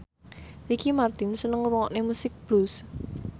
Ricky Martin seneng ngrungokne musik blues